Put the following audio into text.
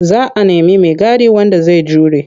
Za a nemi maigadi wanda zai jure.